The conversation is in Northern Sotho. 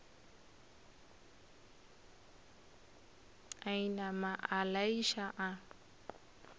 a inama a laiša a